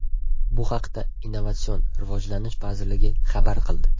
Bu haqda Innovatsion rivojlanish vazirligi xabar qildi .